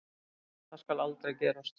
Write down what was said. Það skal aldrei gerast.